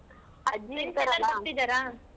ಅಜ್ಜಿ .